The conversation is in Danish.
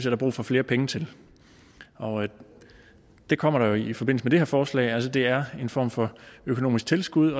er brug for flere penge til og det kommer der jo i forbindelse med det her forslag altså det er en form for økonomisk tilskud